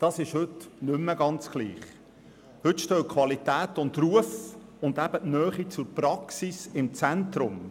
Heute hingegen stehen Qualität und Ruf sowie Praxisnähe im Zentrum.